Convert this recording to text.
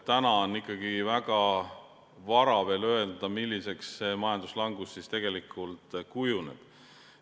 Täna on ikkagi väga vara veel öelda, milliseks majanduslangus tegelikult kujuneb.